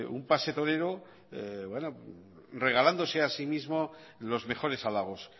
un pase torero regalándose así mismo los mejores halagos